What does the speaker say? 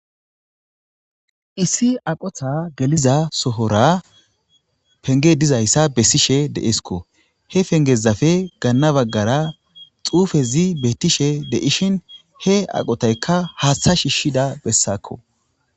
Issi aqota geliza sohora pege dizaysa besishe deskko he pengezappe gana bagara xufezi betishe betishe dizaysa ha aqotayka haththa shishiza besako